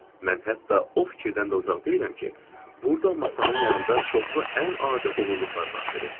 Mən hətta o fikirdən də uzaq deyiləm ki, burda masanın yanında çoxlu ən adi oğurluqlar baş verir.